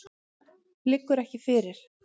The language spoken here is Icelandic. Liggur ekki fyrir.